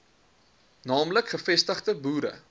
naamlik gevestigde boere